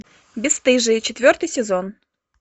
бесстыжие четвертый сезон